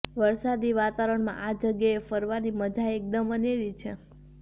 વરસાદી વાતાવરણમાં આ જગ્યાએ ફરવાની મજા એકદમ અનેરી છે